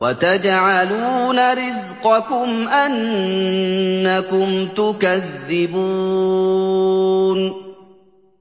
وَتَجْعَلُونَ رِزْقَكُمْ أَنَّكُمْ تُكَذِّبُونَ